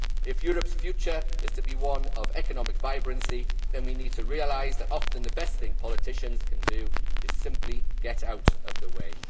If Europe's future is to be one of economic vibrancy, then we have to realise that often the best thing politicians can do is simply get out of the way.